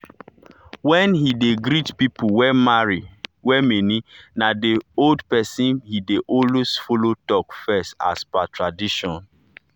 when he dey greet people wey many na the old pesin he dey follow talk first as per tradition.